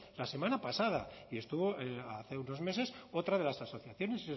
la semana pasada y estuvo hace unos meses otra de las asociaciones